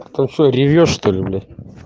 ты что ревёшь что ли блять